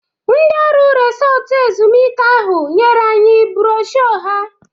Ndị ọrụ resọtụ ezumuike ahụ nyere anyị brosho ha.